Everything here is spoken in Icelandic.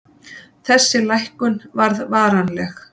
Þessi lækkun varð varanleg.